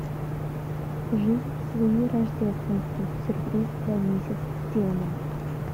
жизнь с луи рождественский сюрприз для мисс стиллман